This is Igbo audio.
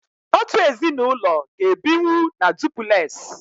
otu ezinụlọ ga-ebinwu na dupules.